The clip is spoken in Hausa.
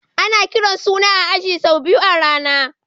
Ana kiran suna a aji sau biyu a rana.